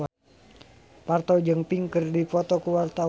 Parto jeung Pink keur dipoto ku wartawan